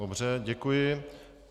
Dobře, děkuji.